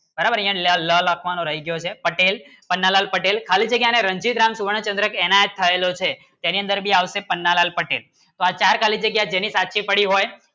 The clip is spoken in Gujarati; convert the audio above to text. બરાબર યહ લ લખવાનું રહી ગયો છે પટેલ પન્નાલાલ પટેલ ખાલી જગ્ય ને રણજિત રામ સુવર્ણ ચન્દ્ર કેના થાયલો છે તેની અંદર ભી આવશે પન્નાલાલ પટેલ વ ચાર ખાલી જગ્ય જેની સાચી પડી હોય